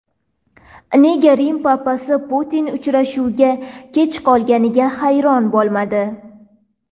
Nega Rim papasi Putin uchrashuvga kech qolganiga hayron bo‘lmadi?